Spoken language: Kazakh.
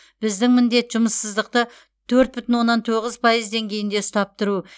біздің міндет жұмыссыздықты төрт бүтін оннан тоғыз пайыз деңгейінде ұстап тұру